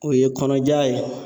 O ye kɔnɔja ye.